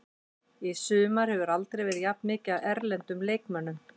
Í sumar hefur aldrei verið jafn mikið af erlendum leikmönnum.